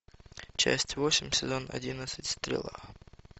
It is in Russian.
часть восемь сезон одиннадцать стрела